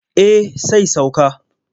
Eh sai sauka.